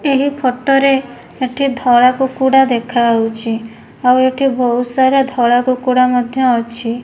ଏହି ଫଟ ରେ ଏଠି ଧଳା କୁକୁଡ଼ା ଦେଖାଯାଉଛି ଆଉ ଏଠି ବହୁତ ସାରା ଧଳା କୁକୁଡା ମଧ୍ୟ ଅଛି।